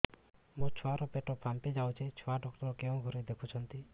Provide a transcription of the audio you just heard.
ମୋ ଛୁଆ ର ପେଟ ଫାମ୍ପି ଯାଉଛି ଛୁଆ ଡକ୍ଟର କେଉଁ ଘରେ ଦେଖୁ ଛନ୍ତି